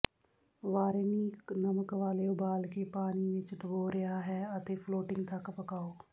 varenik ਨਮਕ ਵਾਲੇ ਉਬਾਲ ਕੇ ਪਾਣੀ ਵਿੱਚ ਡੁਬੋ ਰਿਹਾ ਹੈ ਅਤੇ ਫਲੋਟਿੰਗ ਤੱਕ ਪਕਾਉ